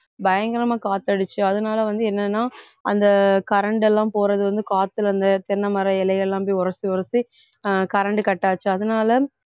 பயங்கரமா காத்து அடிச்சு அதனால வந்து என்னன்னா அந்த current எல்லாம் போறது வந்து காத்துல அந்த தென்னைமரம் இலை எல்லாம் உரசி உரசி அஹ் current cut ஆச்சு அதனால